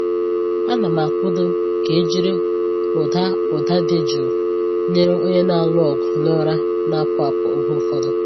Ana m akwado ka e jiri ụda ụda jụụ nyere onye na-alụ ọgụ na ụra na-apụ apụ oge ụfọdụ.